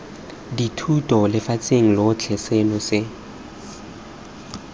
dithuto lefatsheng lotlhe seno se